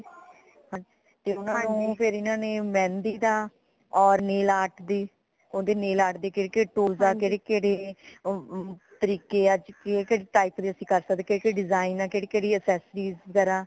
ਫੇਰ ਊਨਾ ਨੂ ਫੇਰ ਇਨ੍ਹਾਂ ਨੇ ਮਹਿੰਦੀ ਦਾ ਓਰ nail art ਦੀ ਓਰ nail art ਦੀ ਕੇਡੀ tool ਕੇਡੇ ਕੇਡੇ ਤਰੀਕੇ ਅੱਜ ਕੇਡੇ ਕੇਡੇ type ਦੇ ਅਸੀਂ ਕਰ ਸਕਦੇ ਕੇਡੇ ਕੇਡੇ design ਕੇਡੀ ਕੇਡੀ accessories ਵਗੈਰਾ